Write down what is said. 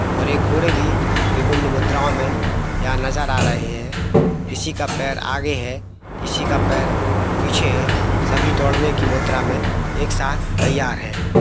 और ये घोड़े भी विभिन्न मुद्राओं में यहां नजर आ रहे हैं किसी का पैर आगे है किसी का पैर पीछे है सभी दौड़ने की मुद्रा में एक साथ तैयार है।